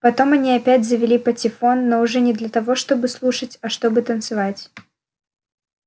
потом они опять завели патефон но уже не для того чтобы слушать а чтобы танцевать